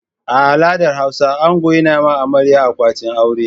A al'adar Hausa ango yana yi ma amarya akwatin aure.